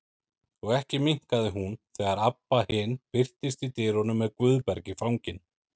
Og ekki minnkaði hún þegar Abba hin birtist í dyrunum með Guðberg í fanginu.